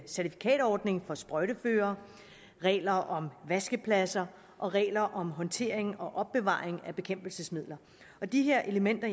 certifikatordning for sprøjteførere regler om vaskepladser og regler om håndtering og opbevaring af bekæmpelsesmidler de her elementer